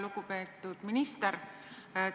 Lugupeetud minister!